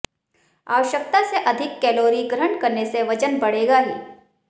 आवश्यकता से अधिक कैलोरी ग्रहण करने से वजन बढ़ेगा ही